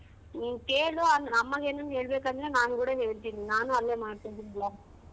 ನೀನ್ ಕೇಳು ಆ ಅಮ್ಮಂಗ್ ಏನಾರು ಹೇಳ್ಬೇಕಂದ್ರೆ ನಾನ್ ಕೂಡ ಹೇಳ್ತೀನಿ ನಾನ್ ಅಲ್ಲೇ ಮಾಡ್ತಿದಿನಿ ಅಂತ.